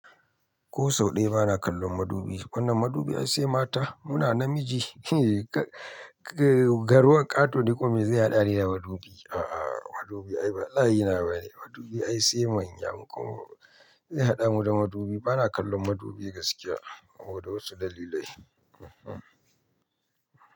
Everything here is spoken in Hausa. Ko sau ɗaya ba na kallon madubi. Wannan madubi ai sai mata. Muna namiji garwan ƙaton ni kuma miye zai haɗa ni da madubi. A'a madubi ai la'ina bane. Madubi ai sai manya. Zai haɗa mu da madubi. Ba na kallon madubi gaskiya saboda wasu dalilai. Eeh.